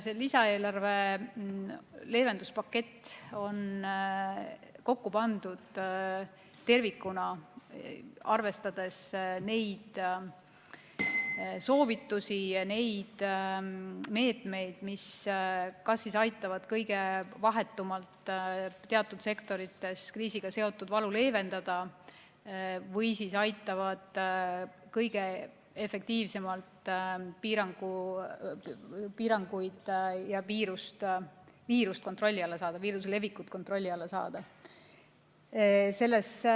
See lisaeelarve leevenduspakett on kokku pandud tervikuna, arvestades neid soovitusi, neid meetmeid, mis aitavad kõige vahetumalt teatud sektorites kriisiga seotud valu leevendada või aitavad kõige efektiivsemalt viiruse levikut kontrolli alla saada.